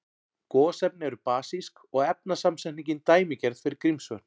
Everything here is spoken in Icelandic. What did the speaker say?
Gosefni eru basísk og efnasamsetningin dæmigerð fyrir Grímsvötn.